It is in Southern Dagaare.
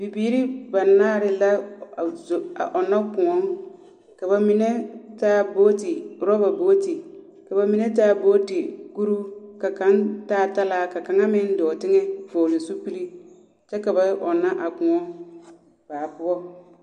Bibiiri banaare la a zo a ɔnna kõɔ. Ka ba mine taa booti, oraba booti. Ka ba mine taa booti kuruu, ka kaŋ taa talaa, ka kaŋ meŋ dɔɔ teŋɛ vɔgle zupili, kyɛ ka ba ɔnna a kõɔ baa poɔ.